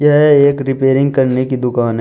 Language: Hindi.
यह एक रिपेयरिंग करने की दुकान है।